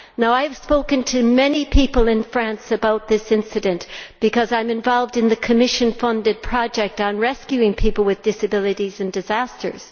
I have spoken to many people in France about this incident, as I am involved in the Commission funded project on rescuing people with disabilities in disasters.